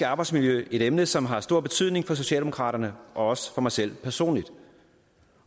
arbejdsmiljø et emne som har stor betydning for socialdemokraterne og også for mig selv personligt